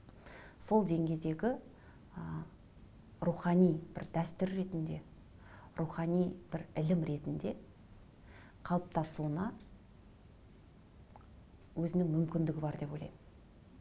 сол деңгейдегі ы рухани бір дәстүр ретінде рухани бір ілім ретінде қалыптасуына өзінің мүмкіндігі бар деп ойлаймын